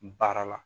Baara la